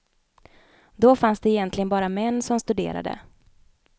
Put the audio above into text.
Då fanns det egentligen bara män som studerade.